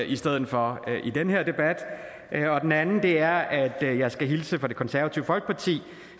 i stedet for i den her debat og den anden er at jeg jeg skal hilse fra det konservative folkeparti